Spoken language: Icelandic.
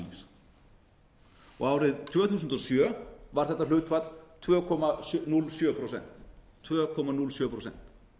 atvinnulífs og árið tvö þúsund og sjö var þetta hlutfall tvö komma núll sjö prósent tvö komma núll sjö prósent